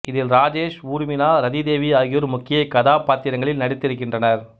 இதில் ராஜேஷ் ஊர்மிளா ரதி தேவி ஆகியோர் முக்கிய கதாபாத்திரங்களில் நடித்திருக்கின்றனர்